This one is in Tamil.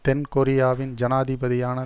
தென் கொரியாவின் ஜனாதிபதியான